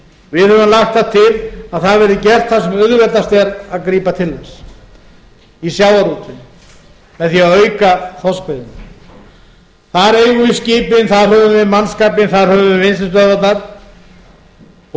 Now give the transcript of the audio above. við höfum lagt til að það verði gert þar sem auðveldast er að grípa til þess í sjávarútveginum með því að auka þorskveiðina þar eigum við skipin þar höfum við mannskapinn þar höfum við vinnslustöðvarnar og